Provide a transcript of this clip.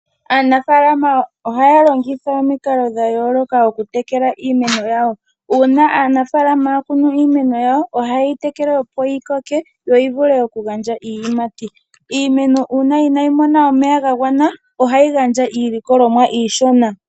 Aanafalama ohaya longitha omikalodha yooloka oku tekela iimeno yawo, uuna aanafalama ya kunu iimeno yawo, oha yeyi tekele opo yi koke, opo yi vule oku gandja iiyimati. Iimeno uuna inayi mona omeya ga gwana, ohayi gandja iilikolomwa iishona.